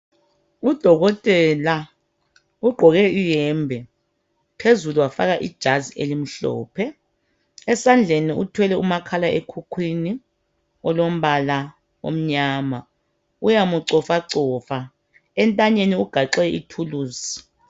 Udokotela ugqoke iyembe phezulu wafaka ijazi elimhlophe .Esandleni uthwelé umakhalekhukhwini olombala omnyama uyamcofacofa .Entanyeni ugaxe ithulusi .